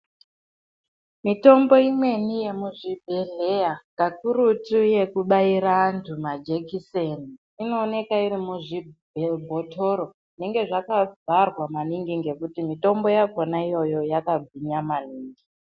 Mitombo imweni yemuzvibhedhleya kakurutu yekubaira antu majekiseni inooneka iri muzvi bhe bhotoro zvinenge zvakavharwa maningi ngekuti mitombo yakhona iyoyo yakagwinya maningi.